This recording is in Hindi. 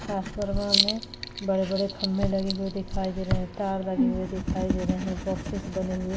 ट्रांसफरवा में बड़े-बड़े खंभे लगे हुए दिखाई दे रहे है तार लगे हुए दिखाई दे रहे है बॉक्सेस बने हुए--